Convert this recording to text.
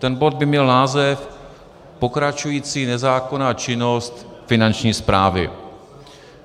Ten bod by měl název Pokračující nezákonná činnost Finanční správy.